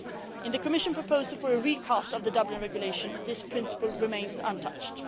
In the Commission proposal for a recast of the Dublin Regulation, this principle remains untouched.